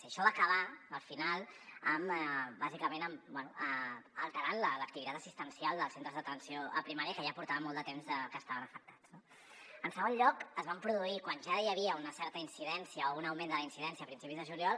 i això va acabar al final bàsicament bé alterant l’activitat assistencial dels centres d’atenció primària que ja portaven molt de temps que estaven afectats no en segon lloc es van produir quan ja hi havia una certa incidència o un augment de la incidència a principis de juliol